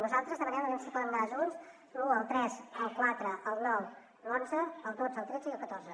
nosaltres demanem aviam si poden anar junts l’un el tres el quatre el nou l’onze el dotze el tretze i el catorze